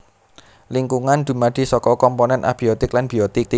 Lingkungan dumadi saka komponèn abiotik lan biotik